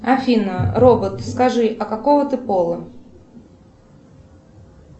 афина робот скажи а какого ты пола